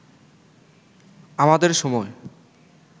আমাদের সময়